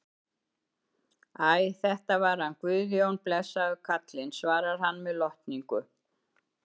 Æ, þetta var hann Guðjón, blessaður karlinn, svarar hann með lotningu.